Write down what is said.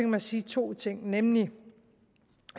mig sige to ting nemlig